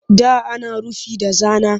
Da ana rufi da zana